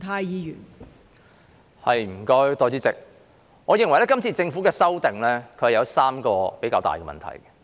代理主席，我認為政府提出的修訂有3個比較重要的問題。